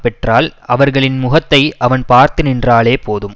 பெற்றால் அவர்களின் முகத்தை அவன் பார்த்து நின்றாலே போதும்